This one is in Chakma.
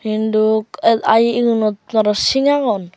induk ah aaei egunottun aro sing aagon.